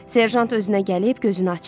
Serjant özünə gəlib gözünü açdı.